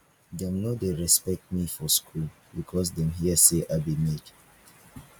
dem no dey respect me for skool because dem hear sey i be maid